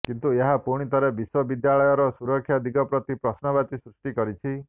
କିନ୍ତୁ ଏହା ପୁଣିଥରେ ବିଶ୍ୱବିଦ୍ୟାଳୟର ସୁରକ୍ଷା ଦିଗ ପ୍ରତି ପ୍ରଶ୍ନବାଚୀ ସୃଷ୍ଟି କରିଛି